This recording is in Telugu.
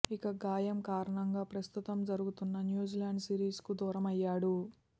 ఇక గాయం కారణంగా ప్రస్తుతం జరుగుతున్న న్యూజిలాండ్ సిరీస్కు దూరమయ్యాడు